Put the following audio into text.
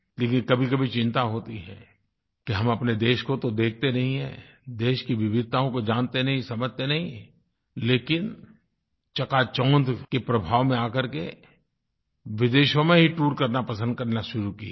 लेकिन कभीकभी चिंता होती है कि हम अपने देश को तो देखते नहीं हैं देश की विविधताओं को जानते नहीं समझते नहीं लेकिन चकाचौंध के प्रभाव में आकर के विदेशों में ही टूर करना पसंद करना शुरू किये हैं